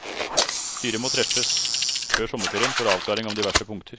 Styret må treffes før sommerferien for avklaring om diverse punkter.